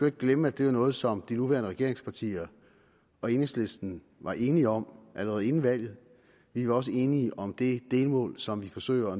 ikke glemme at det er noget som de nuværende regeringspartier og enhedslisten var enige om allerede inden valget vi var også enige om det delmål som vi forsøger